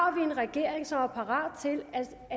en regering som er parat til